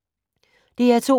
DR2